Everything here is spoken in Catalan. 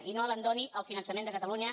i no abandoni el finançament de catalunya